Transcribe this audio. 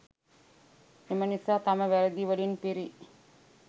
එම නිසා තම වැරදි වලින් පිරි